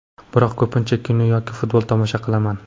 Biroq ko‘pincha kino yoki futbol tomosha qilaman.